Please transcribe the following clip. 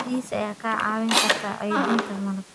Bees ayaa kaa caawin kara kaydinta malab.